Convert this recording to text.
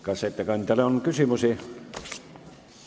Kas ettekandjale on küsimusi?